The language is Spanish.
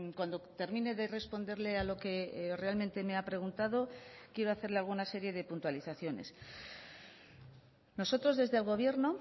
cuando termine de responderle a lo que realmente me ha preguntado quiero hacerle alguna serie de puntualizaciones nosotros desde el gobierno